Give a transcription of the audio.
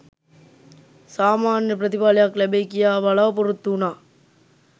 සාමාන්‍ය ප්‍රතිඵලයක් ලැබෙයි කියා බලා‍පොරොත්තු වුණා